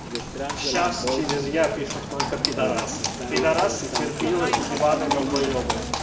сейчас через я пишут только пидарасы пидарасы терпилы уебаны долбоёбы